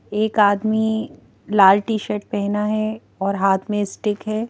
एक आदमी लाल टीशर्ट पहना है और हाथ में स्टिक है।